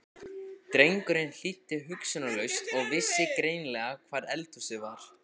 Drengurinn hlýddi hugsunarlaust og vissi greinilega hvar eldhúsið var.